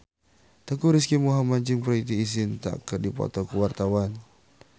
Teuku Rizky Muhammad jeung Preity Zinta keur dipoto ku wartawan